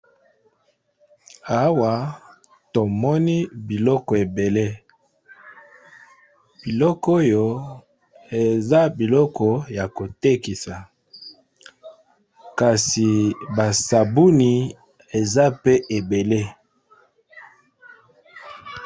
Awa tomoni biloko ebele. Biloko oyo, eza biloko ya kotekisa. Kasi basabuni eza pe ebele.